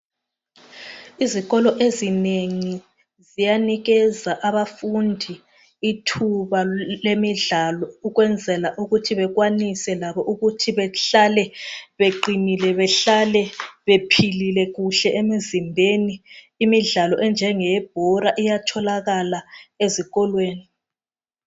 Izikolo ezinengi ziyanikeza abafundi ithuba lemidlalo ukwenzela ukuthi bekwanise labo ukuthi behlale beqinile behlale bephilile kuhle emizimbeni. Imidlalo enjengeye bhola iyatholakala ezikolweni.